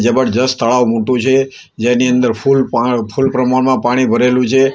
જબરજસ્ત તળાવ મોટુ છે જેની અંદર ફૂલ પ્રમાણમાં પાણી ભરેલુ છે.